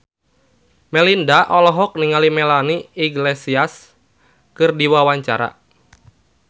Melinda olohok ningali Melanie Iglesias keur diwawancara